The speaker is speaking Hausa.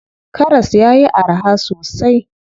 Karas yayi araha sosai.